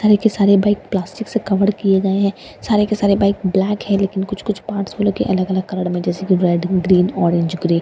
सारे के सारे बाइक प्लास्टिक से कवर किए गए है सारे के सारे बाइक ब्लैक है लेकिन कुछ कुछ पार्ट्स भी लगे उनके अलग-अलग कलर में है जैसे की रेड ग्रीन ऑरेंज ग्रे --